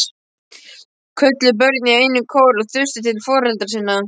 kölluðu börnin í einum kór og þustu til foreldra sinna.